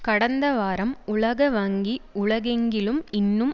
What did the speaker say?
கடந்த வாரம் உலக வங்கி உலகெங்கிலும் இன்னும்